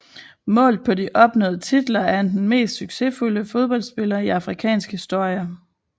Målt på opnåede titler er han den mest succesfulde fodboldspiller i afrikansk historie